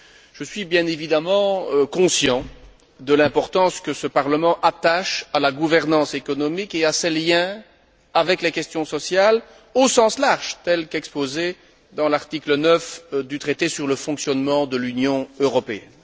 Je suis, bien évidemment, conscient de l'importance que ce Parlement attache à la gouvernance économique et à ses liens avec les questions sociales au sens large, telles qu'exposées dans l'article 9 du traité sur le fonctionnement de l'Union européenne.